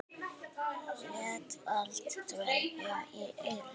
Lét allt dável í eyrum.